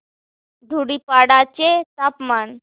धुडीपाडा चे तापमान